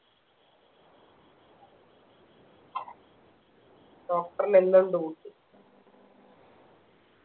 doctor ന് എന്നും duty